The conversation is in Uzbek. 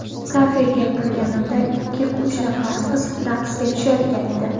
Kafega kirganimda ikki-uch nafar qiz raqsga tushayotgan edi.